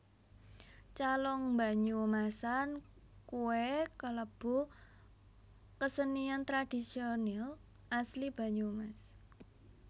Calung Banyumasan kuwe kelebu kesenian tradisionil asli Banyumas